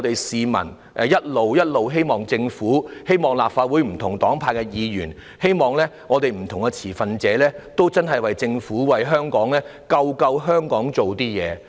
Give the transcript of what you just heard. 市民一直希望政府、希望立法會內不同黨派的議員、希望不同的持份者真的可以為拯救香港而做一些事。